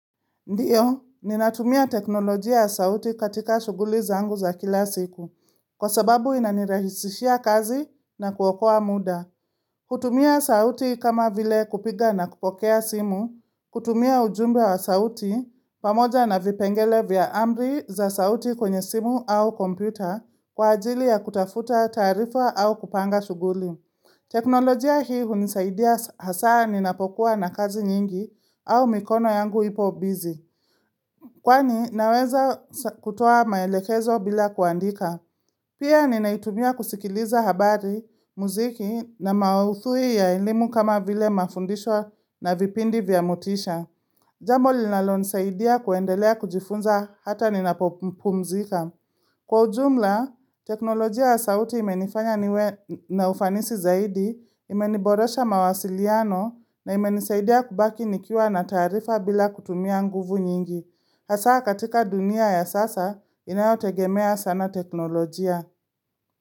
Ndiyo, ninatumia teknolojia ya sauti katika shughuli zangu za kila siku, kwa sababu inanirahisishia kazi na kuokoa muda. Kutumia sauti kama vile kupiga na kupokea simu, kutumia ujumbe wa sauti, pamoja na vipengele vya amri za sauti kwenye simu au kompyuta, kwa ajili ya kutafuta taarifa au kupanga shughuli. Teknolojia hii hunisaidia hasa ninapokuwa na kazi nyingi au mikono yangu ipo busy. Kwani naweza kutoa maelekezo bila kuandika Pia ninaitumia kusikiliza habari, muziki na maudhui ya elimu kama vile mafundisho na vipindi vya motisha Jambo linalonisaidia kuendelea kujifunza hata ninapopumzika Kwa ujumla, teknolojia wa sauti imenifanya niwe na ufanisi zaidi, imeniboresha mawasiliano na imenisaidia kubaki nikiwa na taarifa bila kutumia nguvu nyingi Hasa katika dunia ya sasa inayotegemea sana teknolojia.